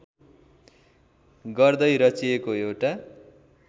गर्दै रचिएको एउटा